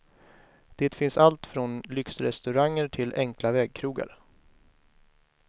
Det finns allt från lyxrestauranger till enkla vägkrogar.